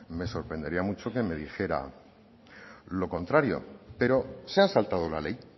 me sorprendería mucho que me dijera lo contrario pero se han saltado la ley